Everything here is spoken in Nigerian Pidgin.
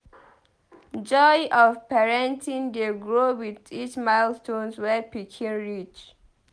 Joy of parenting dey grow with each milestone wey pikin reach.